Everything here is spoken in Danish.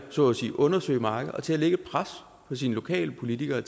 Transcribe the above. så at sige at undersøge markedet og til at lægge pres på sine lokalpolitikere